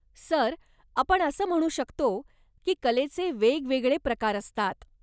Sir, आपण असं म्हणू शकतो की कलेचे वेगवेगळे प्रकार असतात.